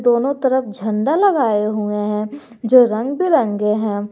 दोनों तरफ झंडा लगाए हुए हैं जो रंग बिरंगे हैं।